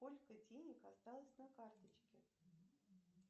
сколько денег осталось на карточке